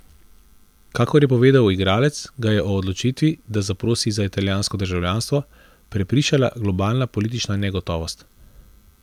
Kakor je povedal igralec, ga je o odločitvi, da zaprosi za italijansko državljanstvo, prepričala globalna politična negotovost.